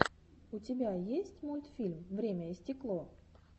у тебя есть мультфильм время и стекло